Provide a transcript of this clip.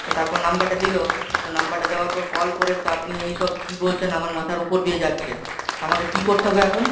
তো তারপর number টা দিল তো number টা দেওয়ার পর call করে তো আপনি এইসব কি বলছেন আমার মাথার উপর দিয়ে যাচ্ছে, তো আমাকে কি করতে হবে এখন?